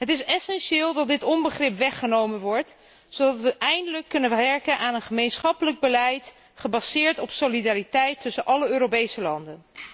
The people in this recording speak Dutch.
Het is essentieel dat dit onbegrip weggenomen wordt, zodat wij eindelijk kunnen werken aan een gemeenschappelijk beleid, gebaseerd op solidariteit tussen alle Europese landen.